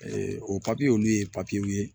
o papiye olu ye papiyew ye